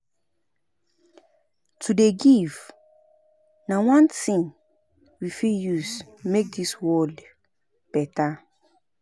To dey give na one tin we fit use make di world beta.